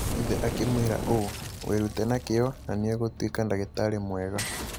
Ithe akĩmwĩra ũũ: "Wĩrute na kĩyo, na nĩ ũgũtuĩka ndagĩtarĩ mwega".